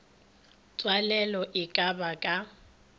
tswalelo e ka ba ka